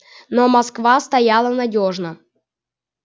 но москва стояла надёжно